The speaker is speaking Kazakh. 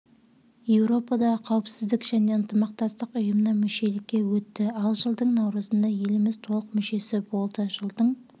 еуропадағы қауіпсіздік және ынтымақтастық ұйымына мүшелікке өтті ал жылдың наурызында еліміз толық мүшесі болды жылдың